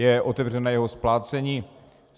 Je otevřené jeho splácení.